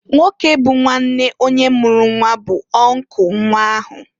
Nwoke bụ nwanne onye mụrụ nnwa bu uncle nnwa ahụ.